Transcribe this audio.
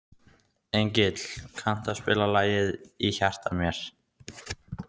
Engill, kanntu að spila lagið „Í hjarta mér“?